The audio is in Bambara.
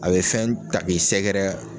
A be fɛn ta k'i sɛgɛrɛ